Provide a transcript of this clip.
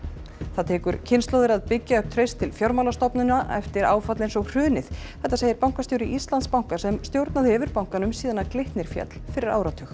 það tekur kynslóðir að byggja upp traust til fjármálastofnana eftir áfall eins og hrunið þetta segir bankastjóri Íslandsbanka sem stjórnað hefur bankanum síðan Glitnir féll fyrir áratug